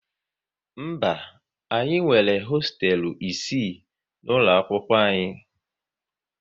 Mba, anyị nwere hosteelu isii n'ụlọ akwụkwọ anyị